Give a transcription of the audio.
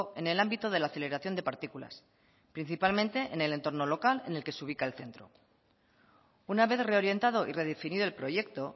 en el ámbito de la aceleración de partículas principalmente en el entorno local en el que se ubica el centro una vez reorientado y redefinido el proyecto